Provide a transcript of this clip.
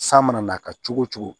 San mana n'a ka cogo o cogo